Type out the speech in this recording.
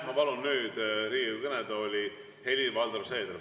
Ma palun nüüd Riigikogu kõnetooli Helir-Valdor Seederi.